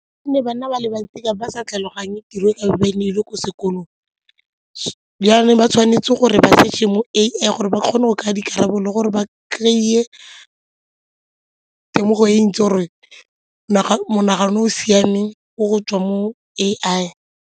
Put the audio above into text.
Gonne bana ba le bantsi tlabe ba sa tlhaloganye tiro ka ba e ne e ile ko sekolong jaanong ba tshwanetse gore ba search-e mo A_I gore ba kgone go kry-a dikarabo le gore ba kry-e temogo e ntsi gore monagano o o siameng ko go tswa mo A_I.